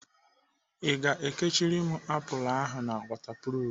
I ga-ekechiri m apụl ahụ na wọtapruf?